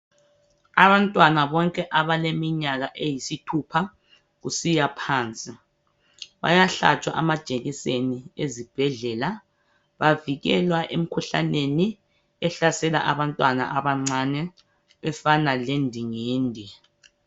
Abantwana bonke abaleminyaka eyisithupha kusiya phansi bayahlatshwa amajekiseni esibhedlela bavikelwa emikhuhlaneni ehlasela abantwana abancane efana le ndingindi.